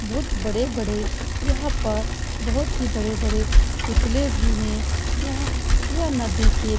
बहुत बड़े-बड़े यहां पर बहुत ही बड़े-बड़े पुतले भी हैं। यहां यह नदी के --